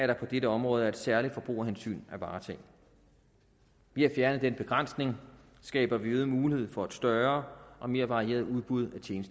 der for dette område er et særligt forbrugerhensyn at varetage ved at fjerne den begrænsning skaber vi øget mulighed for et større og mere varieret udbud